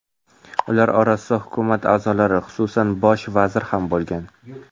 Ular orasida hukumat a’zolari, xususan bosh vazir ham bo‘lgan.